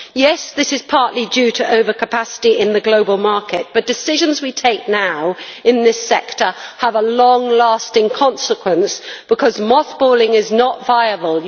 Yes, this is partly due to overcapacity in the global market, but decisions we take now in this sector have long lasting consequences, because moth balling is not viable.